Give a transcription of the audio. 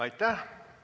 Aitäh!